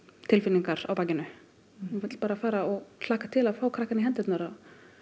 tilfinningar á bakinu maður vill bara fara og hlakka til að fá krakkann í hendurnar